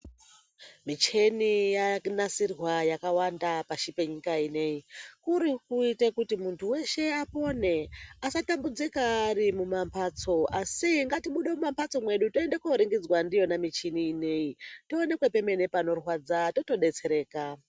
Micheni yanasirwa yakawanda pashi penyika ineyi. Kuri kuite kuti munhu weshe apone, asatambudzika ari mumamhatso, asi ngatibude mumamhatso mwedu, tiende koringidzwa ndiyona michini iyona tionekwe pemene panorwadza totodetsereka.